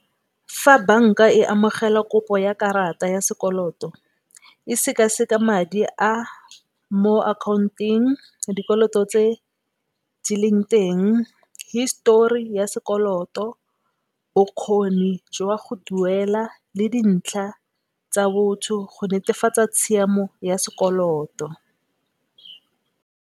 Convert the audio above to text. Fa banka e amogela kopo ya karata ya sekoloto e sekaseka madi a mo account-ong, dikoloto tse di leng teng, histori ya sekoloto, bokgoni jwa go duela le dintlha tsa botho go netefatsa tshiamo ya sekoloto.